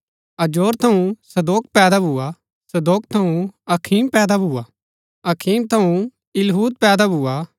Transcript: अजोर थऊँ सदोक पैदा भुआ सदोक थऊँ अखीम पैदा भुआ अखीम थऊँ इलीहूद पैदा भुआ